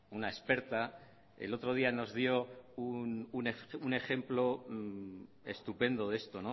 una experta el otro día nos dio un ejemplo estupendo de esto